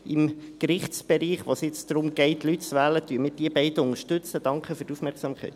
Im Gerichtsbereich, in dem es jetzt darum geht, Leute zu wählen, unterstützen wir diese beiden.